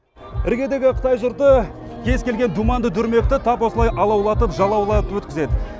іргедегі қытай жұрты кез келген думанды дүрмекті тап осылай алаулатып жалаулатып өткізеді